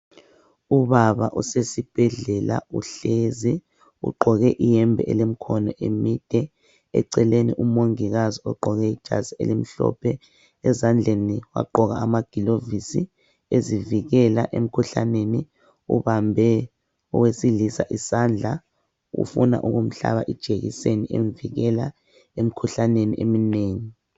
Ubaba usesibhedlela uhlezi ugqoke iyembe elemikhono emide eceleni umongikazi ugqoke ijazi elimhlophe ezandleni wagqoka amagilovisi ezivikela emkhuhlaneni ubambe owesilisa isandla ufuna ukumhlaba ijekiseni emvikela emikhuhlaneni eminengi.